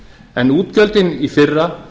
en útgjöldin í fyrra